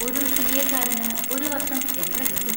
ഒരു സി. എക്കാരന് ഒരു വർഷം എത്ര കിട്ടും?